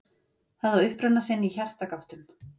Það á uppruna sinn í hjartagáttum.